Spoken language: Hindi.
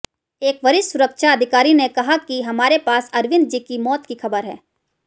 एक वरिष्ठ सुरक्षा अधिकारी ने कहा कि हमारे पास अरविंदजी की मौत की खबर है